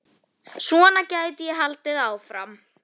Svona gæti ég haldið áfram.